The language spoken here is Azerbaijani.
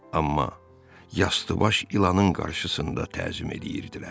Amma yastıbaş ilanın qarşısında təzim eləyirdilər.